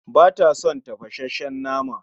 Bata son tafasasshen nama